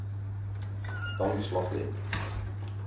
dan beslag lê